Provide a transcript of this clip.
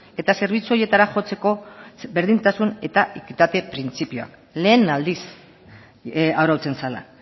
eta zerbitzu horietara jotzeko berdintasun eta ekitate printzipioa lehen aldiz arautzen zela